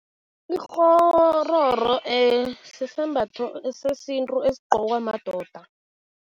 Ikghororo sisembatho sesintu esigqokwa madoda.